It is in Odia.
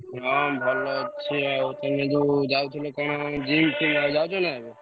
ହାଁ ଭଲ ଅଛି ତମେ ଯୋଉ ଯାଉଥିଲ କଣ gym ଫିମ ଆଉ ଯାଉଛ ନାଁ ଏବେ?